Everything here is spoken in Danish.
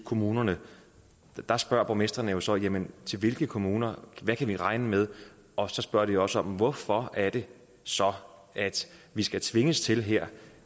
kommunerne der spørger borgmestrene jo så jamen til hvilke kommuner hvad kan vi regne med og så spørger de også hvorfor er det så at vi skal tvinges til her